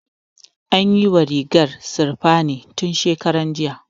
An yiwa rigar sirfanin tun shekaran jiya